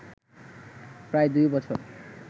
প্রায় দুই বছর